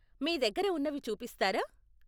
మీ దగ్గర ఉన్నవి చూపిస్తారా?